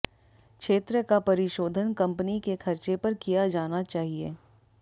क्षेत्र का परिशोधन कंपनी के खर्चे पर किया जाना चाहिए